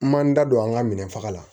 N man n da don an ka minɛn faga la